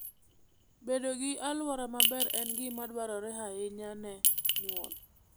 Bedo gi alwora maber en gima dwarore ahinya ne nyuol.